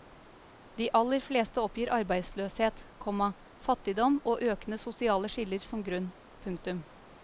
De aller fleste oppgir arbeidsløshet, komma fattigdom og økende sosiale skiller som grunn. punktum